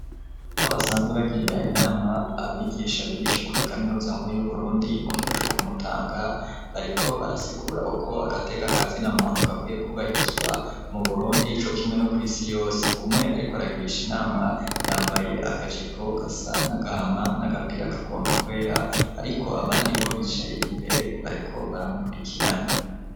Aho basanzwe bagirira inama abigisha bigisha kuri kaminuza nkuru yu Burundi mu kigo co kumutanga bariko barasigura uko agateka kazina muntu gakwiye kubahirizwa mu burundi co kimwe no ku isi yose umwe ariko aragirisha inama yambaye akajipo gasa n'agahama, n'agapira kagomba kwera ariko abandi bo bicaye imbere bariko baramukurikirana.